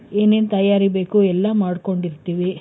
ಏನೇನ್ ತಯಾರಿ ಬೇಕು ಎಲ್ಲಾ ಮಾಡ್ಕೊಂಡಿರ್ತೀವಿ.